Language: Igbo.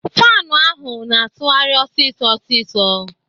Faanu ahụ na-atụgharị ọsịsọ ọsịsọ.